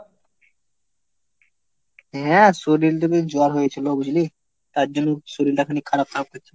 হ্যাঁ শরীর তো খুব জ্বর হয়েছিল বুঝলি? তার জন্য শরীরটা খালি খারাপ থাকতেছে।